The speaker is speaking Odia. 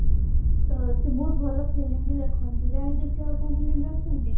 ତ ସେ ବହୁତ ଭଲ film ବି ଲେଖନ୍ତି ଜାଣିଛୁ ସେ ଆଉ କେଏନ film ରେ ଅଛନ୍ତି